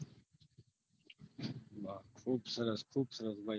ખુબ સરસ ખુબ સરસ